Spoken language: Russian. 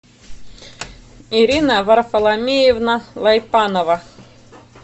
ирина варфоломеевна вайпанова